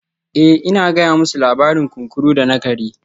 Eh ina gaya musu labarin kunkuru da na kare